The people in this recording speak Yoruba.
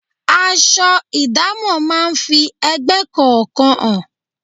Aṣọ idamo máa ń fi ẹgbẹ́ kọ̀ọ̀kan hàn.